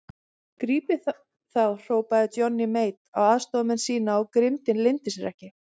Grípið þá hrópaði Johnny Mate á aðstoðarmenn sína og grimmdin leyndi sér ekki.